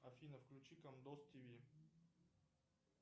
афина включи комедоз тв